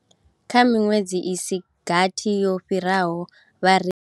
Kha miṅwedzi i si gathi yo fhiraho, vharengi.